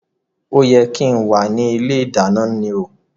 O yẹ kí n wá ní ilé ìdáná ni o